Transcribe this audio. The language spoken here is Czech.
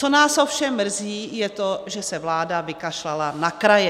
Co nás ovšem mrzí, je to, že se vláda vykašlala na kraje.